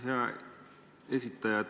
Hea ettekandja!